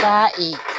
Taa